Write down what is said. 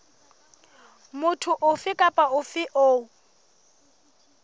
motho ofe kapa ofe eo